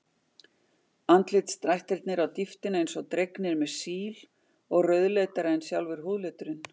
Andlitsdrættirnir á dýptina eins og dregnir með síl og rauðleitari en sjálfur húðliturinn.